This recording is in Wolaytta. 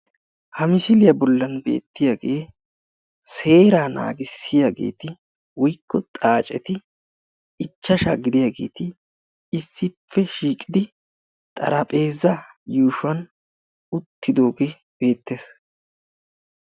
Ha misiliyaa bollan beettiyaage seera naagissiyageeti woykko xaaceti ichchashsha gidiyaageeti issippe shiiqidi xaraphphpeza yuushuwan uttidooge beettees.